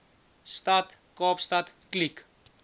stad kaapstad kliek